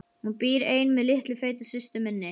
Hún býr ein með litlu feitu systur minni.